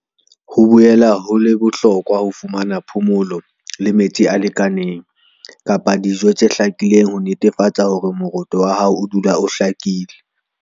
Ho boela ho le bohlokwa ho fumana phomolo le metsi a lekaneng kapa dino tse hlakileng ho netefatsa hore moroto wa hao o dula o hlakile.